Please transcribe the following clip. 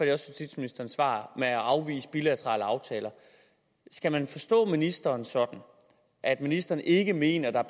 justitsministeren svar med at afvise bilaterale aftaler skal man forstå ministeren sådan at ministeren ikke mener der er